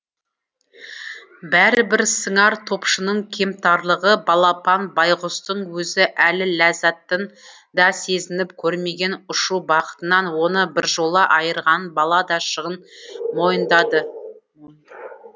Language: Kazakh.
бәрібір сыңар топшының кемтарлығы балапан байғұстың өзі әлі ләззатын да сезініп көрмеген ұшу бақытынан оны біржола айырғанын бала да шын мойындаған